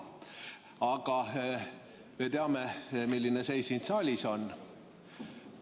Aga me teame, milline seis siin saalis on.